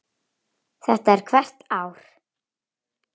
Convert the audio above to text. Þetta er hvert ár?